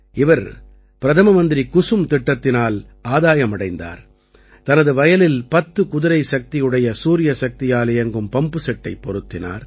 இவர் பிரதம மந்திரி குசும் திட்டத்தினால் ஆதாயம் அடைந்தார் தனது வயலில் பத்து குதிரைசக்தியுடைய சூரியசக்தியால் இயங்கும் பம்புசெட்டைப் பொருத்தினார்